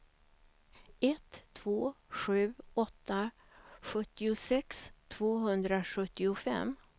ett två sju åtta sjuttiosex tvåhundrasjuttiofem